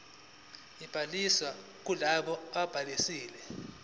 kobhaliso kulabo ababhalisile